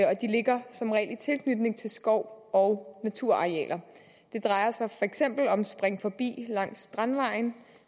ligger som regel i tilknytning til skov og naturarealer det drejer sig for eksempel om springforbi langs strandvejen